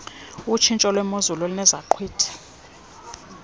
otshintsho lwemozulu enezaqhwithi